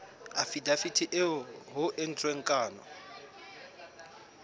afidaviti eo ho entsweng kano